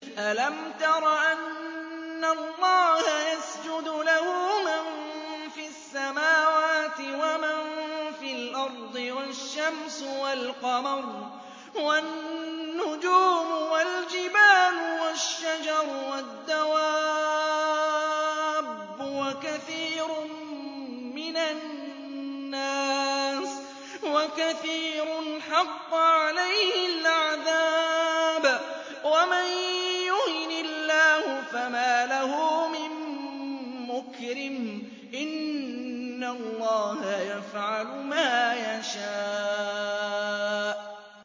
أَلَمْ تَرَ أَنَّ اللَّهَ يَسْجُدُ لَهُ مَن فِي السَّمَاوَاتِ وَمَن فِي الْأَرْضِ وَالشَّمْسُ وَالْقَمَرُ وَالنُّجُومُ وَالْجِبَالُ وَالشَّجَرُ وَالدَّوَابُّ وَكَثِيرٌ مِّنَ النَّاسِ ۖ وَكَثِيرٌ حَقَّ عَلَيْهِ الْعَذَابُ ۗ وَمَن يُهِنِ اللَّهُ فَمَا لَهُ مِن مُّكْرِمٍ ۚ إِنَّ اللَّهَ يَفْعَلُ مَا يَشَاءُ ۩